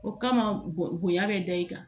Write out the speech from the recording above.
O kama bon bonya bɛ da i kan